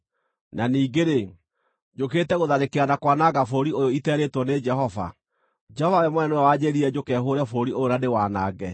Na ningĩ-rĩ, njũkĩte gũtharĩkĩra na kwananga bũrũri ũyũ iterĩĩtwo nĩ Jehova? Jehova we mwene nĩwe wanjĩĩrire njũke hũũre bũrũri ũyũ na ndĩwanange.’ ”